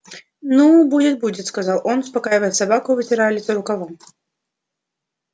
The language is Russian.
ну будет будет сказал он успокаивая собаку и вытирая лицо рукавом